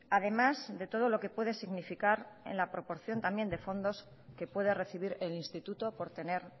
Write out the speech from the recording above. además de todo lo que puede significar en la proporción también de fondos que pueda recibir el instituto por tener